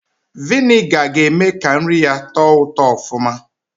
Viniga ga-eme ka nri yaa tọọ ụtọ ọfụma